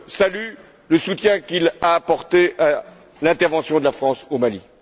Je salue d'abord le soutien qu'il a apporté à l'intervention de la France au Mali.